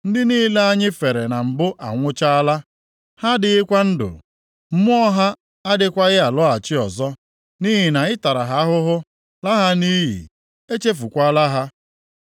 Ndị niile anyị fere na mbụ anwụchaala; ha adịghịkwa ndụ; mmụọ ha agakwaghị alọghachi ọzọ. Nʼihi na ị tara ha ahụhụ, laa ha nʼiyi; e chefukwaala ha.